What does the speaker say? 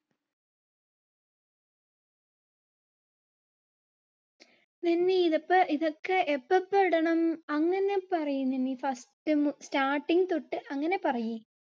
അപ്പോ ഇതൊക്കെ എപ്പോപ്പ ഇടണം? അങ്ങനെ പറയ് നന്നി first ന്ന് starting തൊട്ട് അങ്ങനെ പറയ്.